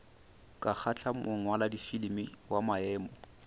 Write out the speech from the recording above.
ka kgahla mongwaladifilimi wa maemo